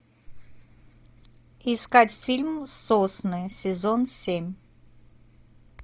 искать фильм сосны сезон семь